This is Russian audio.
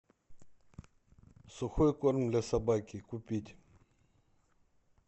сухой корм для собаки купить